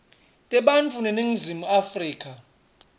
tebantfu beningizimu afrika